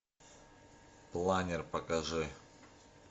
планер покажи